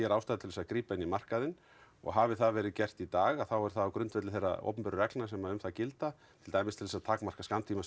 ástæðu til að grípa inn í markaðinn og hafi það verið gert í dag er það á grundvelli þeirra opinberu reglna sem um það gilda til dæmis til að takmarka